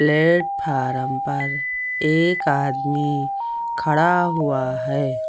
Platform पर एक आदमी खड़ा हुआ है।